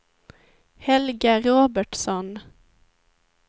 Helga Robertsson